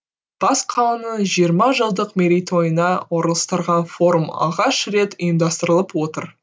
бас қаланың жиырма жылдық мерейтойына орылыстырылған форум алғаш рет ұйымдастырылып отыр